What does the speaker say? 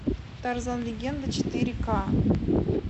тарзан легенда четыре ка